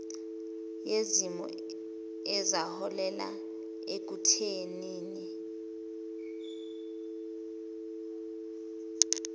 yezimo ezaholela ekuthenini